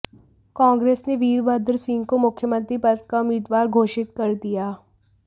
कांग्रेस ने वीरभद्र सिंह को मुख्यमंत्री पद का उम्मीदवार घोषित कर दिया